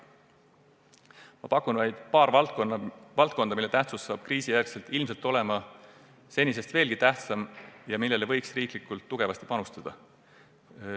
Ma toon välja vaid paar valdkonda, mille tähtsus saab kriisi järel olema ilmselt senisest suurem ja millesse võiks riiklikult tugevasti panustada.